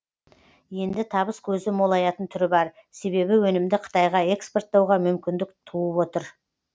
енді табыс көзі молаятын түрі бар себебі өнімді қытайға экспорттауға мүмкіндік туып отыр